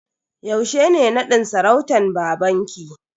Yaushe ne nadin sarautan babanki?